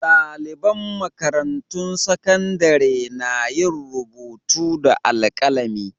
Ɗaliban makarantun sakandare na yin rubutu da alkalami.